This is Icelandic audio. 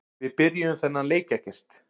Við byrjuðum þennan leik ekkert.